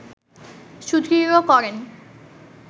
সুদৃঢ় করেন